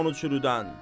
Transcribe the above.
Kimdir onu çürüdən?